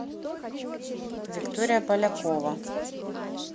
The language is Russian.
виктория полякова